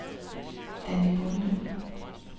Danni Bonde